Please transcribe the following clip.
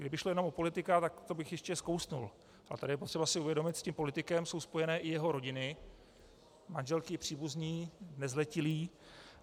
Kdyby šlo jenom o politika, tak to bych ještě skousl, ale tady je potřeba si uvědomit, s tím politikem jsou spojeny i jeho rodiny, manželky, příbuzní, nezletilí.